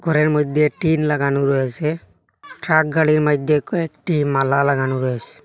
ঘরের মধ্যে টিন লাগানো রয়েসে ট্রাক গাড়ির মাইধ্যে কয়েকটি মালা লাগানো রয়েসে।